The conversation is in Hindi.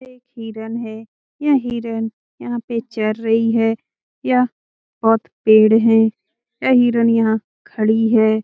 ये एक हिरण है यह हिरण यहाँ पे चर रही है यह बोहोत पेड़ है यह हिरण यहाँ खड़ी है।